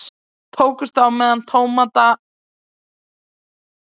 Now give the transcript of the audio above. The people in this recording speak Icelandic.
Tókust á með tómata að vopni